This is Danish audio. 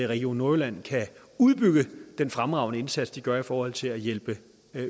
region nordjylland kan udbygge den fremragende indsats de gør i forhold til at hjælpe